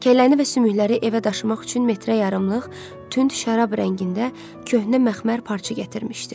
Kəlləni və sümükləri evə daşımaq üçün metrə yarımlıq tünd şərab rəngində köhnə məxmər parça gətirmişdi.